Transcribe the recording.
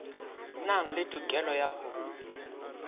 nang le tokelo ya ho